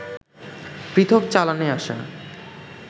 পৃথক চালানে আসা